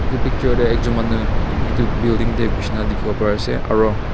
etu picture te ekjon manu etu building te gushina dekhi bo pari ase aru--